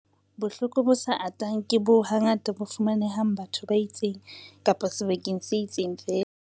Bohloko bo sa atang ke boo hangata bo fumanehang bathong ba itseng kapa sebakeng se itseng feela.